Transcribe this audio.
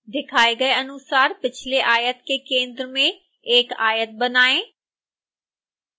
दिखाए गए अनुसार पिछले आयत के केंद्र में एक आयत बनाएँ